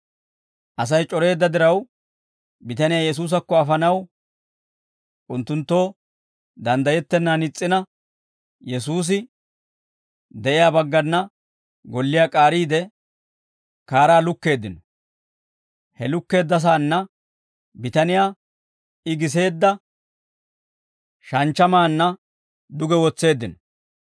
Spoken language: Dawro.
Asay c'oreedda diraw, bitaniyaa Yesuusakko afanaw unttunttoo danddayettennan is's'ina, Yesuusi de'iyaa baggana golliyaa k'aariide, kaaraa lukkeeddino; he lukkeeddasaanna bitaniyaa I giseedda shanchchamaanna duge wotseeddino.